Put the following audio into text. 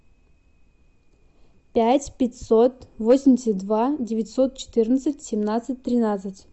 пять пятьсот восемьдесят два девятьсот четырнадцать семнадцать тринадцать